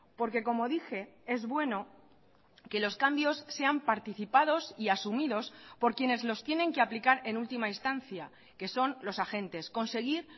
porque como dije es bueno que los cambios sean participados y asumidos por quienes los tienen que aplicar en última instancia que son los agentes conseguir